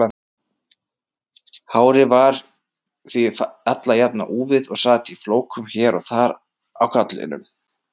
Hárið var því alla jafna úfið og sat í flókum hér og þar á kollinum.